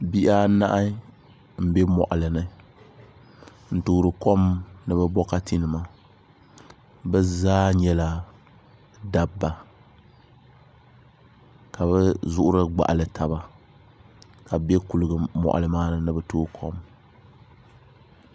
Bihi anahi n bɛ moɣali ni n toori kom ni bi bokati nima bi zaa nyɛla dabba ka bi zuɣuri gbaɣali taba ka bi bɛ moɣali maa ni ni bi tooi kom